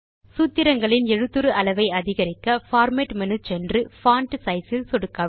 சூத்திரங்களின் எழுத்துரு அளவை அதிகரிக்க பார்மேட் மேனு சென்று பான்ட் சைஸ் இல் சொடுக்கவும்